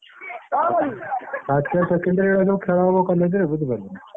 First year।